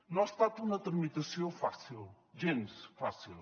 no ha estat una tramitació fàcil gens fàcil